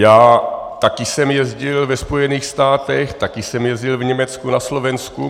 Já taky jsem jezdil ve Spojených státech, taky jsem jezdil v Německu, na Slovensku.